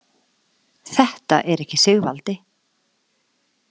Þetta er ekki Sigvaldi?